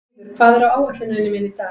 Lýður, hvað er á áætluninni minni í dag?